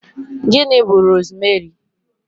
Gịnị bú rosmeri?